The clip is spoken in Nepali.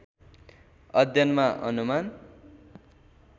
अध्ययनमा अनुमान